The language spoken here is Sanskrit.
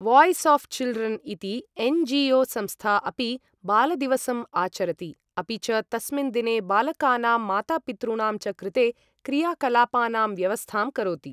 वाय्स् आऴ् चिल्ड्रन् इति एन्.जि.ओ.संस्था अपि बालदिवसम् आचरति, अपि च तस्मिन् दिने बालकानां मातापितॄणां च कृते क्रियाकलापानां व्यवस्थां करोति।